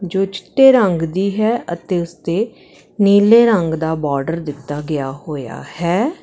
ਜੋ ਚਿੱਟੇ ਰੰਗ ਦੀ ਹੈ ਅਤੇ ਉੱਸ ਤੇ ਨੀਲੇ ਰੰਗ ਦਾ ਬੋਰਡਰ ਦਿੱਤਾ ਗਿਆ ਹੋਇਆ ਹੈ।